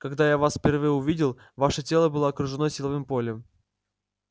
когда я вас впервые увидел ваше тело было окружено силовым полем